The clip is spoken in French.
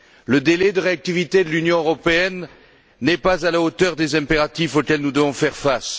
Le délai de réactivité de l'Union européenne n'est pas à la hauteur des impératifs auxquels nous devons faire face.